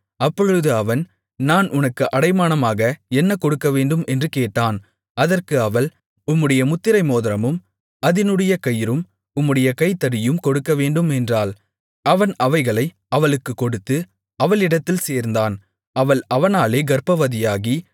அப்பொழுது அவன் நான் உனக்கு அடைமானமாக என்ன கொடுக்கவேண்டும் என்று கேட்டான் அதற்கு அவள் உம்முடைய முத்திரை மோதிரமும் அதனுடைய கயிறும் உம்முடைய கைத்தடியையும் கொடுக்கவேண்டும் என்றாள் அவன் அவைகளை அவளுக்குக் கொடுத்து அவளிடத்தில் சேர்ந்தான் அவள் அவனாலே கர்ப்பவதியாகி